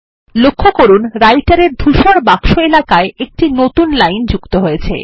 লক্ষ্য করুন Writer এর ধূসর বাক্স এলাকায় একটি নতুন লাইন যুক্ত হয়েছে